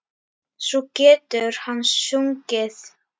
Svo getur hann sungið.